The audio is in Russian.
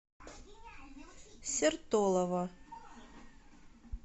сертолово